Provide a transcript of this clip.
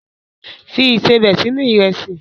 Fi ìsebẹ̀ sínú Ìrẹ́sì!